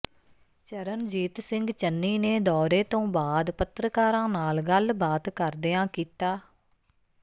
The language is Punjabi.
ਚਰਨਜੀਤ ਸਿੰਘ ਚੰਨੀ ਨੇ ਦੌਰੇ ਤੋਂ ਬਾਅਦ ਪੱਤਰਕਾਰਾਂ ਨਾਲ ਗੱਲਬਾਤ ਕਰਦਿਆਂ ਕੀਤਾ